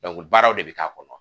baaraw de bɛ k'a kɔnɔ.